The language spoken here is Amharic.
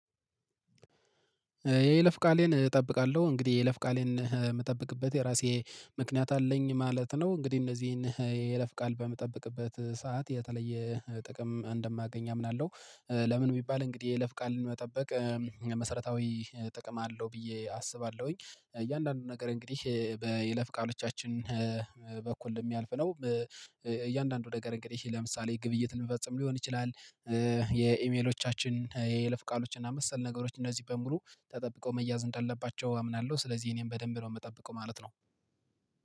የለፍ ቃሌን እጠብቃለሁ እንግዲህ የለፍ ቃሌን የምጠብቅበት የራሴ ምክንያት አለኝ ማለት ነው። እንግዲህ እነዚህን የለፍ ቃል በምጠብቅበት ሰዓት የተለየ ጥቅም እንደማገኝ አምናለሁ። ለምን የሚባል እንግዲህ የለፍ ቃል መጠበቅ መሰረታዊ ጥቅም አለው ብዬ አስባለሁኝ። እያንዳንዱን ነገር እንግዲህ በይለፍ ቃሎቻችን በኩል የሚያልፍ ነው እያንዳንዱ ነገር እንግዲህ ለምሳሌ ግብይት ልንፈጽም ሊሆን ይችላል። የኢሜሎቻችን የለፍ ቃሎች እና መሰል ነገሮች እነዚህ በሙሉ ተጠብቀው መያዝ እንዳለባቸው አምናለሁ። ስለዚህ እኔም በደንብ ነው የምጠብቀው ማለት ነው